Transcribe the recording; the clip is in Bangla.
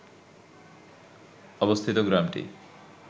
অবস্থিত গ্রামটি